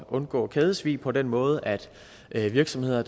undgå kædesvig på den måde at virksomheder